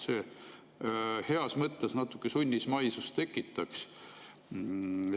See heas mõttes tekitaks natuke sunnismaisust.